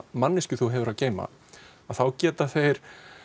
manneskju þú hefur að geyma geta þeir